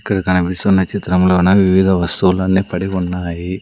ఇక్కడ కనిపిస్తున్న చిత్రములోన వివిధ వస్తువులన్నీ పడి ఉన్నాయి.